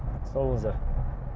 сау болыңыздар